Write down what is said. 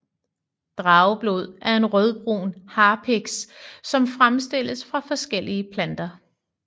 Drageblod er en rødbrun harpiks som fremstilles fra forskellige planter